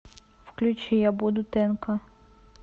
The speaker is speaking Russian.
включи я буду тэнка